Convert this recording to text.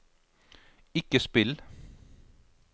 ikke spill